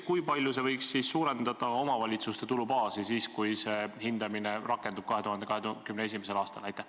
Kui palju võiks see suurendada omavalitsuste tulubaasi, kui see hindamine rakendub 2021. aastal?